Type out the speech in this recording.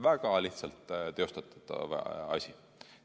Väga lihtsalt teostatav asi.